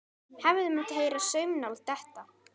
Hefði mátt heyra saumnál detta.